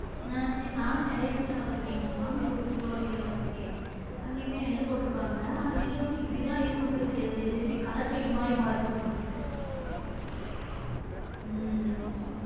உம் நி நானும் நிறையா இடத்துல பார்த்துருக்கேன் எங்க மாமியாரு ஊருக்கு போற வழில பாத்துருக்கன் அங்கயுமே நெல்லு போற்றுபாங்க ஆனா நெல்லு வந்து இப்படித்தான் இருக்குன்றது தெரியாது இது இப்டி கலச்செடி மாதிரி மொளச்சு வருது உம் உம்